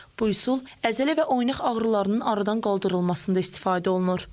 Bu üsul əzələ və oynaq ağrılarının aradan qaldırılmasında istifadə olunur.